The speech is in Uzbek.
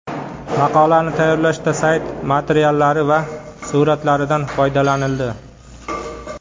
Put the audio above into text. Maqolani tayyorlashda sayti materiallari va suratlaridan foydalanildi.